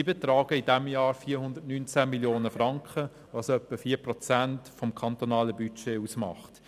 Sie betragen in diesem Jahr 419 Mio. Franken, was etwa 4 Prozent des kantonalen Budgets ausmacht.